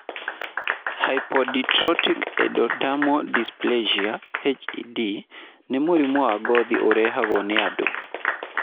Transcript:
Hypohidrotic ectodermal dysplasia (HED) nĩ mũrimũ wa ngothi ũrehagwo nĩ andũ.